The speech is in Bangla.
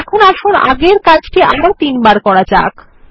এখন আসুন আগের কাজটি আরো তিনবার করা যাক